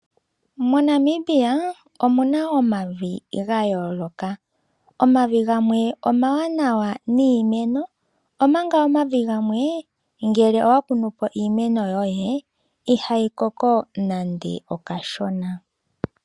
Mo Namibia omuna omavi gayoloka. Omavi gamwe omawanawa niimeno omanka omavi gamwe ngele wakunu po iimeno yoye ihayi koko nande okashona.